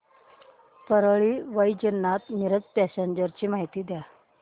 Parli Vaijnath Miraj passenger ची माहिती द्या